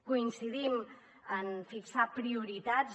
coincidim en fixar prioritats